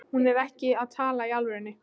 Hún er ekki að tala í alvöru.